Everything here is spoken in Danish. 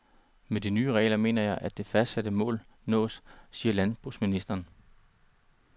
Med de nye regler mener jeg, at det fastsatte mål nås, siger landbrugsministeren.